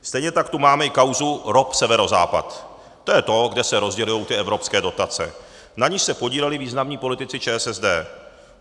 Stejně tak tu máme i kauzu ROP Severozápad - to je to, kde se rozdělují ty evropské dotace - na níž se podíleli významní politici ČSSD.